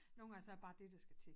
Nogen gange så det bare dét der skal til